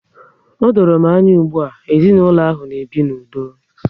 O dọrọ m anya ugbua, ezinaụlọ ahụ na-ebi n'udo